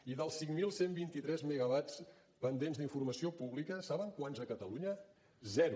i dels cinc mil cent i vint tres megawatts pendents d’informació pública saben quants a catalunya zero